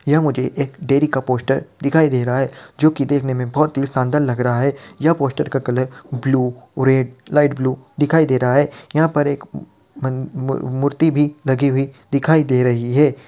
यह मुझे एक डेयरी का पोस्टर दिखाई दे रहा है जो की दिखने में बोहोत ही शानदार लग रहा है यह पोस्टर का colour blue red light blue दिखाई दे रहा है यहां पर एक म-म -मूर्ति भी लगी हुई दिखाई दे रही है ।